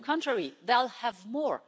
On the contrary, they'll have more.